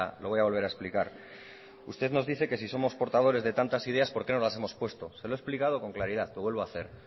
lo voy a volver a explicar usted nos dice que si somos portadores de tantas ideas por qué no las hemos puesto se lo he explicado con claridad lo vuelvo a hacer